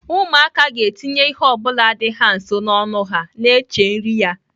Ụmụaka ga-etinye ihe ọ bụla dị ha nso n'ọnụ ha na-eche nri ya.